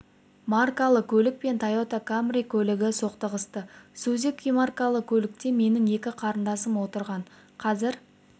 маркалы көлік пен тойота камри көлігі соқтығысты сузуки маркалы көлікте менің екі қарындасым отырған қазір